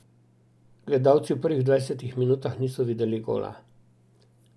Gledalci v prvih dvajsetih minutah niso videli gola.